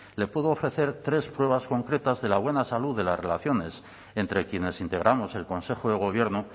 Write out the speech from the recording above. le puedo ofrecer tres pruebas concretas de la buena salud de las relaciones entre quienes integramos el consejo de gobierno